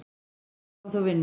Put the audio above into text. Allir fái þó vinnu.